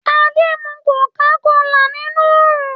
Adé ń mu kòká kolà nínú oòrùn